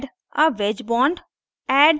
add a wedge bond